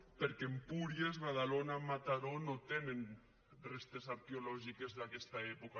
perquè empúries badalona mataró no tenen restes arqueològiques d’aquesta època